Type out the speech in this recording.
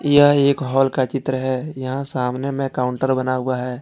यह एक हॉल का चित्र है यहां सामने में काउंटर बना हुआ है।